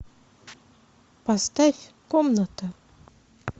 поставь комната